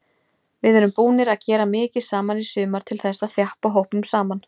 Við erum búnir að gera mikið saman í sumar til þess að þjappa hópnum saman.